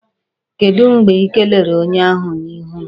Kedụ mgbe Ị kelere onye ahụ n'ihu m?